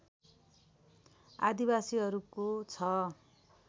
आदिवासीहरूको छ